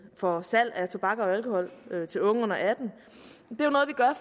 for salg af tobak og alkohol til unge under atten